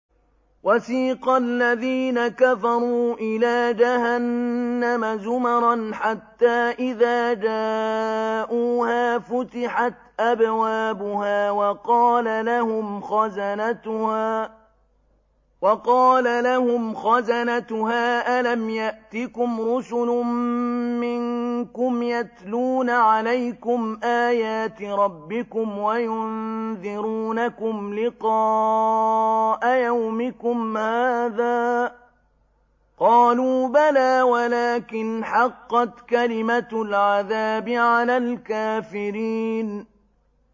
وَسِيقَ الَّذِينَ كَفَرُوا إِلَىٰ جَهَنَّمَ زُمَرًا ۖ حَتَّىٰ إِذَا جَاءُوهَا فُتِحَتْ أَبْوَابُهَا وَقَالَ لَهُمْ خَزَنَتُهَا أَلَمْ يَأْتِكُمْ رُسُلٌ مِّنكُمْ يَتْلُونَ عَلَيْكُمْ آيَاتِ رَبِّكُمْ وَيُنذِرُونَكُمْ لِقَاءَ يَوْمِكُمْ هَٰذَا ۚ قَالُوا بَلَىٰ وَلَٰكِنْ حَقَّتْ كَلِمَةُ الْعَذَابِ عَلَى الْكَافِرِينَ